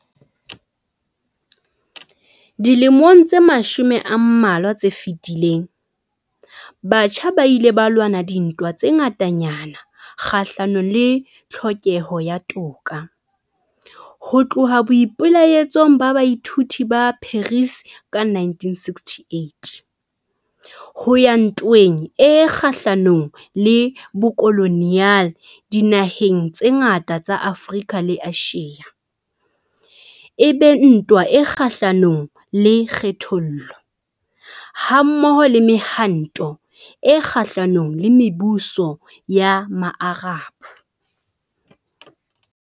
Dilemong tse mashome a mmalwa tse fetileng, batjha ba ile ba lwana dintwa tse ngatanyana kgahlanong le tlhokeho ya toka, ho tloha boipelaetsong ba baithuti ba Paris ka 1968, ho ya ntweng e kgahlanong le bokoloniale dinaheng tse ngata tsa Afrika le Asia, e be ntwa e kgahlanong le kgethollo, hammoho le Mehwanto e Kgahlanong le Mebuso ya Maarab.